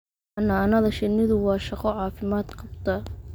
Xannaanada shinnidu waa shaqo caafimaad qabta.